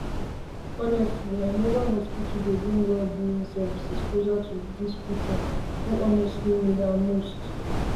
honestly[um]mobile hospital dey bring wellbeing services closer to those people honestly who need am most